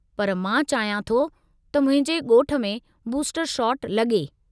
पर मां चाहियां थो त मुंहिंजे ॻोठ में बूस्टर शॉट लॻे।